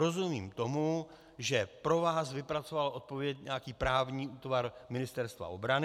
Rozumím tomu, že pro vás vypracoval odpověď nějaký právní útvar Ministerstva obrany.